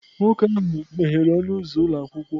Nwoke ahụ meghere ọnụ ụzọ ụlọ akwụkwọ